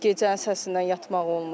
Gecənin səsindən yatmaq olmur.